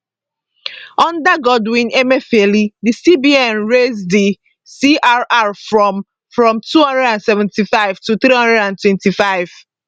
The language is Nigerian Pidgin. under godwin emefiele di cbn raise di crr from from 275 to 325